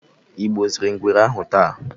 ịgbuziri ngwere ahụ taa?